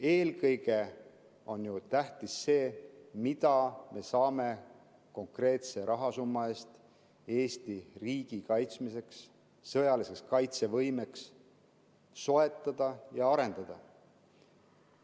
Eelkõige on ju tähtis see, mida me saame konkreetse rahasumma eest Eesti riigi kaitsmiseks, sõjalise kaitsevõime heaks soetada ja arendada.